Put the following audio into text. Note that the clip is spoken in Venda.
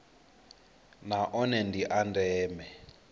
na one ndi a ndeme